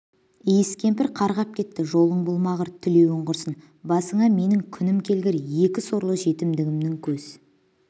иіс кемпір қарғап кетті жолың болмағыр тілеуің құрсын басына менің күнім келгір екі сорлы жетімгімнің көз